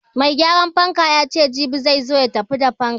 Mai gyaran fanka yace jibi zai zo ya tafi da fankan.